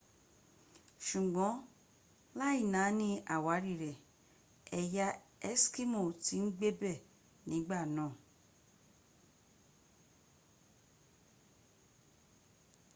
sùgbọ́n láì nání àwárí rẹ̀ ẹ̀yà eskimo ti ń gbébẹ̀ nígbà náà